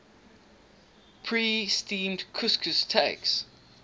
pre steamed couscous takes